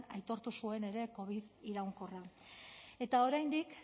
aitortu zuen ere covid iraunkorra eta oraindik